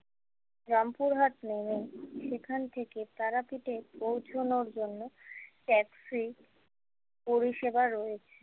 রামপুরহাট নেমে সেখান থেকে তারাপীঠে পৌঁছোনোর জন্য ট্যাক্সি পরিসেবা রয়েছে।